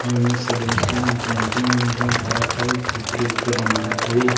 अउ ऐ में सब लयका मन पेंटिंग उन्टिंग करत हवे चित्र उत्र बनात हवे।